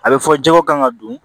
A bɛ fɔ jɛgɛ kan ŋa don